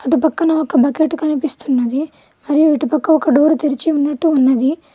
అటు పక్కన ఒక బకెట్ కనిపిస్తున్నది మరియు ఇటు పక్క ఒక డోర్ తెరిచి ఉన్నట్టు ఉన్నది.